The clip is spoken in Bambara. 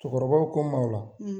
Cɛkɔrɔbaw ko n ma o la